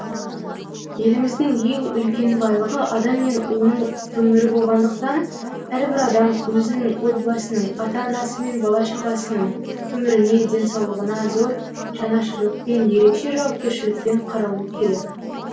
еліміздің ең үлкен байлығы адам мен оның өмірі болғандықтан әрбір адам өзінің отбасының ата анасы мен бала шағасының өміріне денсаулығына зор жанашырлықпен ерекше жауапкершілікпен қарауы керек